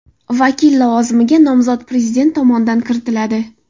Vakil lavozimiga nomzod Prezident tomonidan kiritiladi.